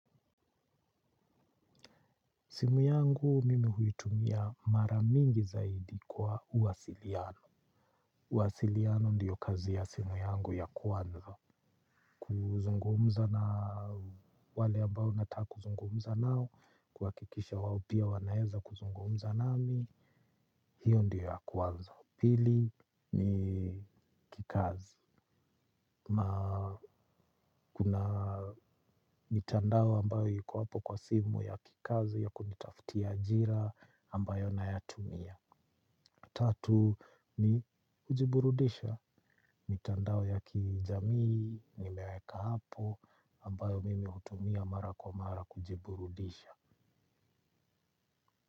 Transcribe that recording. Simu yangu mimi huitumia mara mingi zaidi kwa uwasiliano. Uwasiliano ndiyo kazi ya simu yangu ya kwanza. Kuzungumza na wale ambao nataka kuzungumza nao, kuhakikisha wao pia wanaeza kuzungumza nami, hiyo ndiyo ya kwanza. Pili ni kikazi. Ma kuna mitandao ambayo iko apo kwa simu ya kikazi ya kunitaftia ajira ambayo nayatumia. Tatu ni kujiburudisha, mitandao ya kijamii, nimeweka hapo, ambayo mimi hutumia mara kwa mara kujiburudisha.